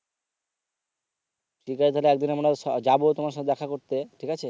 ঠিক আছে তাহলে একদিন আমরা যাবো তোমার সাথে দেখা করতে ঠিক আছে।